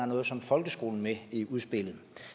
noget som folkeskole med i udspillet